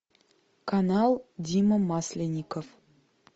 канал дима масленников